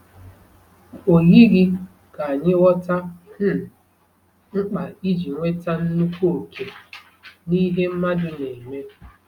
O yighị ka anyị ghọtara um mkpa iji nweta nnukwu òkè n’ihe mmadụ na-eme.